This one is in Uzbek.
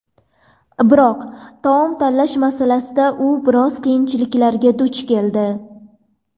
Biroq taom tanlash masalasida u biroz qiyinchiliklarga duch keldi.